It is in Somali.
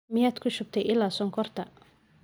Miyaad kushubtay ila sonkorta?